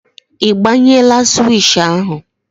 Ị gbanyela swishì ahụ?